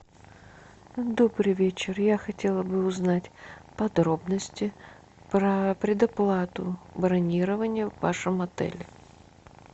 добрый вечер я хотела бы узнать подробности про предоплату бронирования в вашем отеле